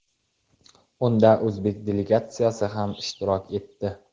Unda o‘zbek delegatsiyasi ham ishtirok etdi.